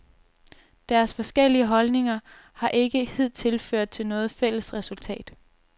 Deres forskellige holdninger har ikke hidtil ført til noget fælles resultat.